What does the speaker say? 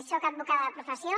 soc advocada de professió